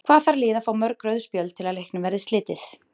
Hvað þarf lið að fá mörg rauð spjöld til að leiknum verði slitið?